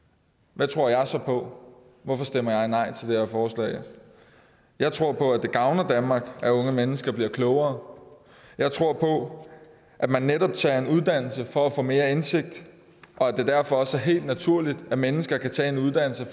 hvad tror jeg så på hvorfor stemmer jeg nej til det her forslag jeg tror på at det gavner danmark at unge mennesker bliver klogere jeg tror på at man netop tager en uddannelse for at få mere indsigt og at det derfor også er helt naturligt at mennesker kan tage en uddannelse og